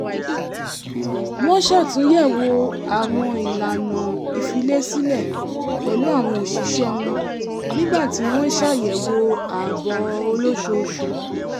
wọ́n ṣàtúnyẹ̀wò àwọn ìlànà ìfilésílẹ̀ pẹ̀lú àwọn òṣìṣẹ́ wọn nígbà tí wọ́n ń ṣàyẹ̀wò ààbò olóṣooṣù